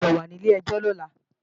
O gbọ́dọ̀ wà ní ilé-ẹjọ́ lọ́la!